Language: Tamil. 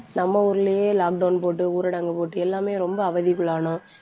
நம்ம ஊர்லயே lockdown போட்டு, ஊரடங்கு போட்டு எல்லாமே ரொம்ப அவதிக்குள்ளானோம்